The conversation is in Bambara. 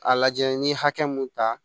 A lajɛ n ye hakɛ mun ta